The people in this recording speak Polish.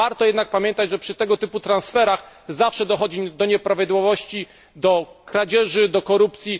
Warto jednak pamiętać, że przy tego typu transferach, zawsze dochodzi do nieprawidłowości, kradzieży, korupcji.